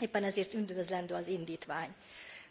Éppen ezért üdvözlendő az indítvány,